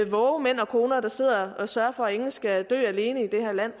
vågekoner der sidder og sørger for at ingen skal dø alene i det her land